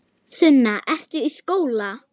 Sunna: Ertu í skóla?